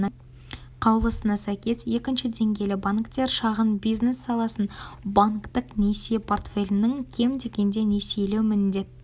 қаулысына сәйкес екінші деңгейлі банктер шағын бизнес саласын банктік несие портфелінің кем дегенде несиелеуі міндетті